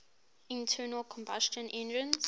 internal combustion engines